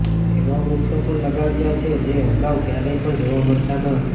એવા વૃક્ષો પણ લગાવ્યા છે જે અગાઉ ક્યારેય પણ જોવા મળતા ન હતા